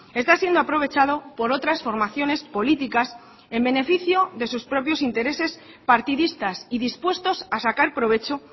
está siendo aprovechado por otras formaciones políticas en beneficio de sus propios intereses partidistas y dispuestos a sacar provecho